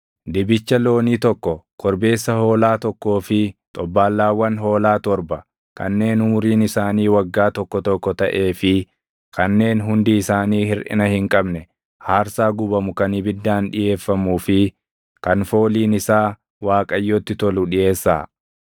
Dibicha loonii tokko, korbeessa hoolaa tokkoo fi xobbaallaawwan hoolaa torba kanneen umuriin isaanii waggaa tokko tokko taʼee fi kanneen hundi isaanii hirʼina hin qabne aarsaa gubamu kan ibiddaan dhiʼeeffamuu fi kan fooliin isaa Waaqayyotti tolu dhiʼeessaa.